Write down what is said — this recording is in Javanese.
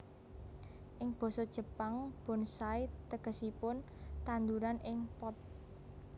Ing basa Jepang bonsai tegesipun tandhuran ing pot